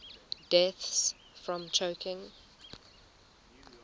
deaths from choking